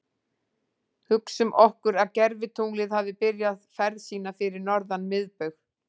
Hugsum okkur að gervitunglið hafi byrjað ferð sína fyrir norðan miðbaug.